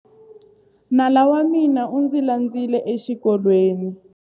Nala wa mina u ndzi landzile exikolweni.